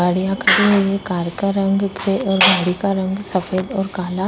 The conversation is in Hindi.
गाड़ियाँ खड़ी हुई हैं। कार का रंग और गाड़ी का रंग सफ़ेद और काला --